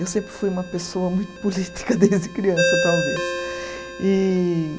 Eu sempre fui uma pessoa muito política desde criança, talvez. E